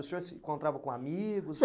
O senhor se encontrava com amigos?